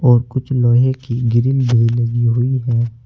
और कुछ लोहे की ग्रिल भी लगी हुई है।